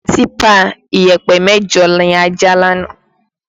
Típà ìyẹ̀pẹ̀ mẹ́jọ ni a já lánàá